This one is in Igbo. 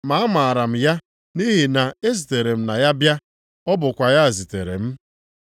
Ma amara m ya, nʼihi na esitere m na ya bịa. Ọ bụkwa ya zitere m.”